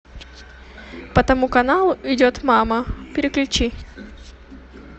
по тому каналу идет мама переключи